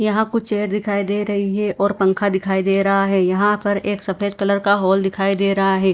यहाँ कुछ दिखाई दे रही है और पंखा दिखाई दे रहा है यहाँ पर एक सफ़ेद कलर का हॉल दिखाई दे रहा है।